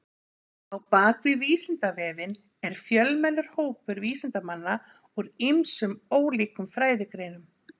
Á bak við Vísindavefinn er fjölmennur hópur vísindamanna úr ýmsum ólíkum fræðigreinum.